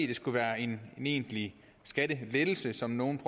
det skulle være en egentlig skattelettelse som nogle